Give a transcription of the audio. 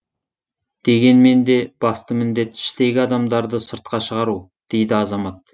дегенмен де басты міндет іштегі адамдарды сыртқа шығару дейді азамат